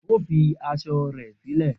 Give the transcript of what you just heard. O fi aṣọ rẹ silẹ